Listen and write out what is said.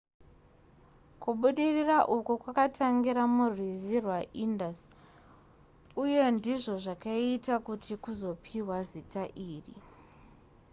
kubudirira uku kwakatangira murwizi rwaindus uye ndizvo zvakaita kuti kuzopiwa zita iri